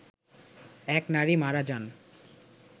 এক নারী মারা যান